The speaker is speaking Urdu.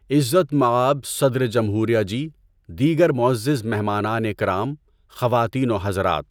عزت مآب صدر جمہوریہ جی، دیگر معزز مہمانان کرام، خواتین و حضرات!